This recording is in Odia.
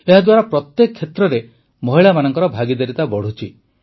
ଏହାଦ୍ୱାରା ପ୍ରତ୍ୟେକ କ୍ଷେତ୍ରରେ ମହିଳାମାନଙ୍କ ଭାଗିଦାରିତା ବଢ଼ୁଛି